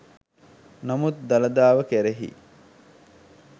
නමුත් දළදාව කෙරෙහි